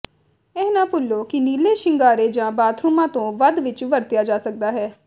ਇਹ ਨਾ ਭੁੱਲੋ ਕਿ ਨੀਲੇ ਸ਼ਿੰਗਾਰੇ ਜਾਂ ਬਾਥਰੂਮਾਂ ਤੋਂ ਵੱਧ ਵਿੱਚ ਵਰਤਿਆ ਜਾ ਸਕਦਾ ਹੈ